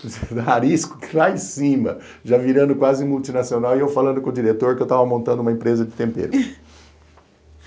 A Arisco lá em cima, já virando quase multinacional, e eu falando com o diretor que eu estava montando uma empresa de tempero.